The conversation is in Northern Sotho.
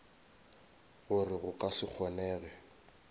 gore go ka se kgonege